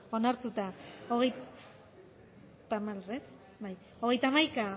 eman dugu bozka hirurogeita hamalau boto aldekoa aho batez onartuta hogeita hamaika